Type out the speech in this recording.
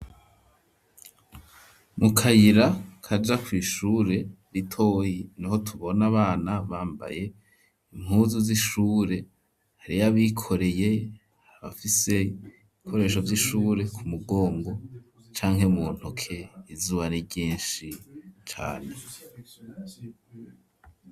Mu kayira kaja kw'ishure ritoyi niho tubona abana bambaye impuzu z'ishure hari abikoreye abafise ikoresho vy'ishure ku mugongo canke mu ntoke izuba n'iryishi cane.